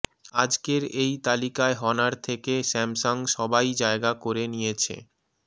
আজকের এই তালিকায় হনার থেকে স্যামসং সবাই জায়গা করে নিয়েছে